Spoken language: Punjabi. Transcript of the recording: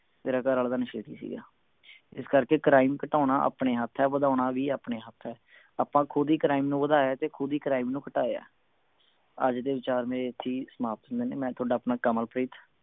ਤੇਰਾ ਘਰ ਆਲਾ ਤਾਂ ਨਸ਼ੇੜੀ ਸੀ ਗਾ ਇਸ ਕਰਕੇ crime ਘਟਾਉਣਾ ਆਪਣੇ ਹੱਥ ਹੈ ਵਧਾਉਣਾ ਵੀ ਆਪਣੇ ਹੱਥ ਹੈ ਆਪਾਂ ਖੁਦ ਹੀ crime ਵਧਿਆਏ ਤੇ ਖੁਦ ਹੀ crime ਨੂੰ ਘਟਾਈਏ ਅੱਜ ਦੇ ਵਿਚਾਰ ਮੇਰੇ ਇਥੇ ਹੀ ਸਮਾਪਤ ਹੁੰਦੇ ਨੇ ਮੈਂ ਮੈਂ ਥੋਡਾ ਆਪਣਾ ਕਮਲਪ੍ਰੀਤ